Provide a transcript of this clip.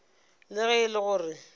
le ge e le gore